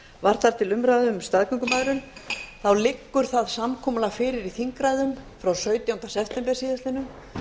var þar til umræðu um staðgöngumæðrun að samkomulag liggur fyrir í þingræðum frá sautjánda september síðastliðinn